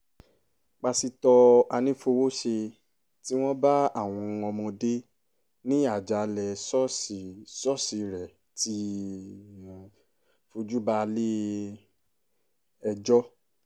pásítọ̀ anífowóṣe tí wọ́n bá àwọn ọmọdé ní àjàalẹ̀ ṣọ́ọ̀ṣì ṣọ́ọ̀ṣì rẹ̀ ti fojú balẹ̀-ẹjọ́